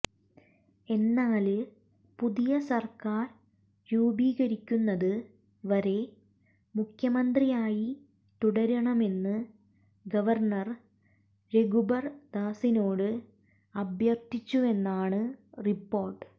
എന്നാല് പുതിയ സർക്കാർ രൂപീകരിക്കുന്നത് വരെ മുഖ്യമന്ത്രിയായി തുടരണമെന്ന് ഗവർണർ രഘുബർദാസിനോട് അഭ്യർത്ഥിച്ചുവെന്നാണ് റിപ്പോര്ട്ട്